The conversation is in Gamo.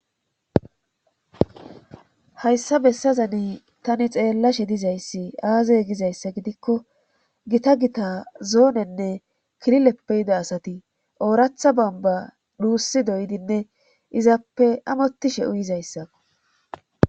Hayssa bessazane tani xeellashe dizayssi aazay gizayssa gidikko gita gita zoonenne kilileppe yida asati ooratha bamba duussi doydinne izappe amottishe uyizayssao.